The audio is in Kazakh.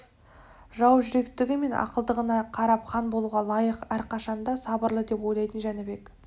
жау жүректігі мен ақылдылығына қарап хан болуға лайық әрқашанда сабырлы деп ойлайтын жәнібек